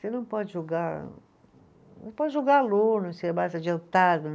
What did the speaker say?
Você não pode julgar, não pode julgar aluno, se é mais adiantado.